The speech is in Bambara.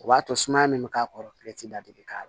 O b'a to sumaya min bɛ k'a kɔrɔ da bi k'a la